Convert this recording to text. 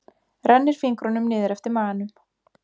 Rennir fingrunum niður eftir maganum.